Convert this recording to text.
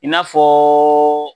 I n'a fɔ